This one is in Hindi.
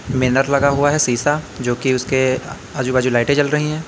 बैनर लगा हुआ है शीशा जो कि उसके आजू बाजू लाइटें चल रही है।